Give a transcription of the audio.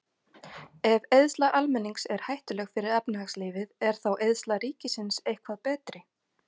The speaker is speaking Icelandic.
Ef eyðsla almennings er hættuleg fyrir efnahagslífið, er þá eyðsla ríkisins eitthvað betri?